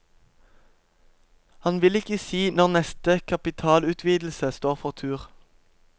Han vil ikke si når neste kapitalutvidelse står for tur.